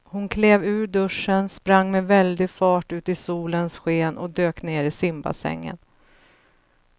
Hon klev ur duschen, sprang med väldig fart ut i solens sken och dök ner i simbassängen.